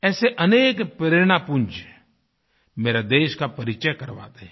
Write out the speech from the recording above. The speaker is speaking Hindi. ऐसे अनेक प्रेरणापुंज मेरे देश का परिचय करवाते हैं